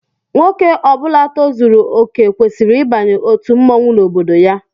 Nwoke Ọbula tozuru okè kwesịrị ịbanye otu mmọnwụ n'obodo ya